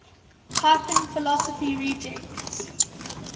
python philosophy rejects